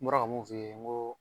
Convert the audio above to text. N bɔra ka mun f'i ye, n ko